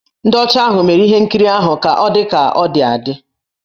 Ndị ọcha ahụ mere ihe nkirii ahụ ka ọ dị ka ọ dị adị.